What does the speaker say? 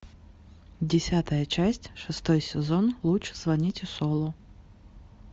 десятая часть шестой сезон лучше звоните солу